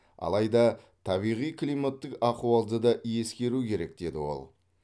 алайда табиғи климаттық ахуалды да ескеру керек деді ол